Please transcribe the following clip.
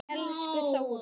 Elsku Þóra.